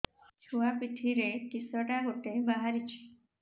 ଛୁଆ ପିଠିରେ କିଶଟା ଗୋଟେ ବାହାରିଛି